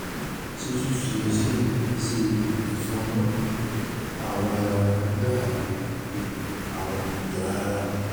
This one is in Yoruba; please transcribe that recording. ṣé fífi restylane ṣe ìfọ̀nra-ẹni-nìkan ń dáàbò bo àwọn ìran ara?